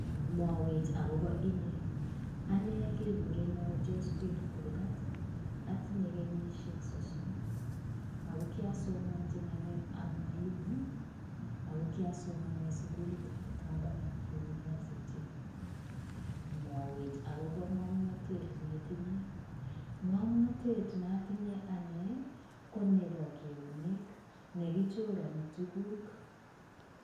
"Mwawech agobo inye?" Ane legurena Josphine Kurgat, atinye kenyisiek sosom ago kiasomanji ngalekab mwalimu ago kiasoman eng sugulitab Kabarak University. "Mwawech agobo ngomnatet neitinye?" Ngamnatet neatinye ane, konebo eunek. Negichorani tuguk.